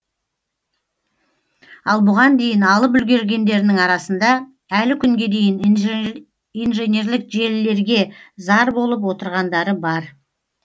ал бұған дейін алып үлгергендерінің арасында әлі күнге дейін инженерлік желілерге зар болып отырғандары бар